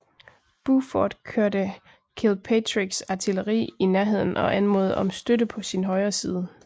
Buford kørte Kilpatricks artilleri i nærheden og anmodede om støtte på sin højre side